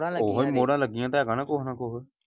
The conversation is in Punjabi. ਓਹੋ ਹੀ ਮੋਹਰਾਂ ਲੱਗਿਆਂ ਤੇ ਹੈਗਾ ਨਾ ਕੁਝ।